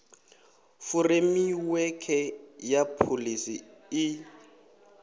furemiwekhe ya pholisi i d